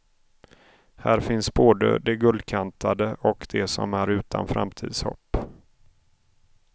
Här finns både de guldkantade och de som är utan framtidshopp.